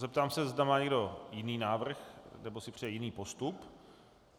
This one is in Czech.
Zeptám se, zda má někdo jiný návrh nebo si přeje jiný postup.